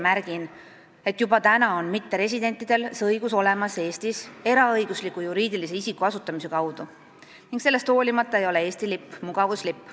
Märgin, et juba praegu on mitteresidentidel see õigus olemas Eestis eraõigusliku juriidilise isiku asutamise kaudu ning sellest hoolimata ei ole Eesti lipp mugavuslipp.